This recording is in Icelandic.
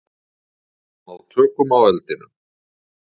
Hafa náð tökum á eldinum